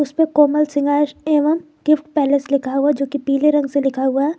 कोमल शृंगार एवं gift palace लिखा हुआ जो की पीले रंग से लिखा हुआ है।